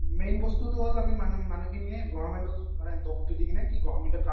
আৰু main বস্তুটো হ'ল আমি মানে মানুহখিনিয়ে government ক মানে দোষটো দি কিনে কি government ৰ কাম